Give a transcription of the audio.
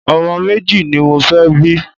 Ọmọ méjì ni mo fẹ́ bí.